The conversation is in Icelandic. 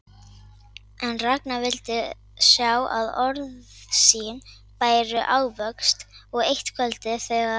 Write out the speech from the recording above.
En Ragnar vildi sjá að orð sín bæru ávöxt og eitt kvöldið, þegar